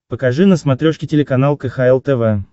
покажи на смотрешке телеканал кхл тв